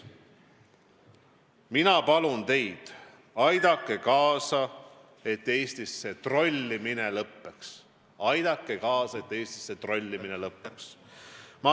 Mina palun teid: aidake kaasa, et Eestis see trollimine lõppeks.